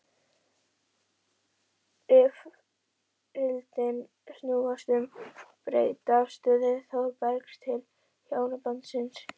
Rifrildin snúast um breytta afstöðu Þórbergs til hjónabandsins.